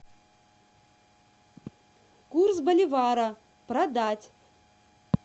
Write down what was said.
курс боливара продать